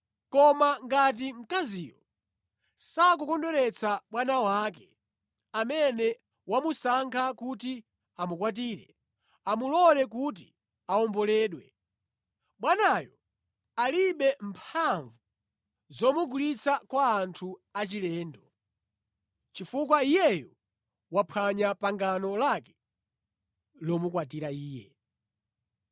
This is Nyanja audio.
Koma ngati mkaziyo sakukondweretsa bwana wake amene wamusankha kuti amukwatire, amulole kuti awomboledwe. Bwanayo alibe mphamvu zomugulitsa kwa anthu achilendo, chifukwa iyeyo waphwanya pangano lake lomukwatira iye.